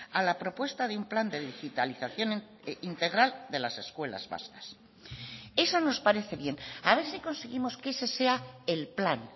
a la propuesta de un plan de digitalización integral de las escuelas vascas eso nos parece bien a ver si conseguimos que ese sea el plan